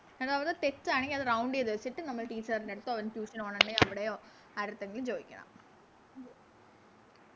അവിടെ തെറ്റാണെങ്കി അത് Round ചെയ്ത വെച്ചിട്ട് നമ്മള് Teacher ൻറെടുത്തോ അല്ലെങ്കി Tution പോണൊണ്ടെങ്കി എവിടെയോ ആരെടുത്തെങ്കിലും ചോയിക്കണം